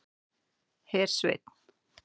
Hersveinn